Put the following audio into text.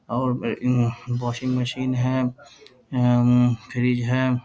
और इ उम्म्म वॉशिंग मशीन है उम्म्म फ्रीज है ।